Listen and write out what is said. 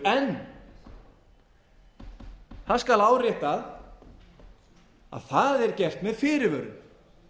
en það skal áréttað að það er gert með fyrirvörum